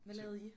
Hvad lavede I?